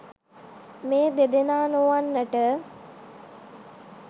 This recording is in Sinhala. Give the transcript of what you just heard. මේ දෙදෙනා නොවන්නට